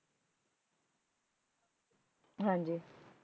ਹਾਂ ਜੀ